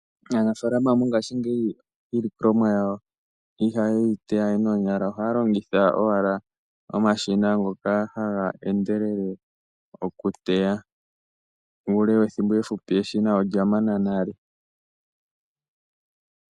Aanafaalama mongashingeyi iilongomwa yaeo ihaye yi teya we noonyala , ohaya longitha owala omashina ngoka haga endelele oku teya. Muule wethimbo eefupi , eshina olya mana nale.